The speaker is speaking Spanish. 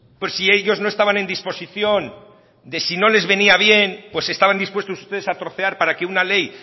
por si ellos no estaban en disposición de si no les venía bien pues estaban dispuestos ustedes a trocear para que una ley